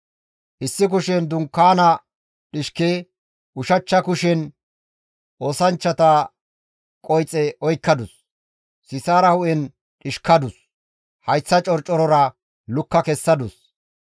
Issi kushen dunkaana dhishke, ushachcha kushen oosanchchata qoyxe oykkadus; Sisaara hu7en dhishkadus; hayththa corcorora lukka kessadus.